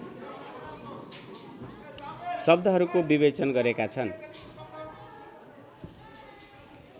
शब्दहरूको विवेचन गरेका छन्